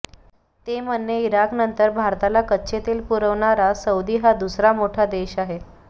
ते म्हणणे इराकनंतर भारताला कच्चे तेल पुरविणारा सौदी हा दुसरा मोठा देश आहे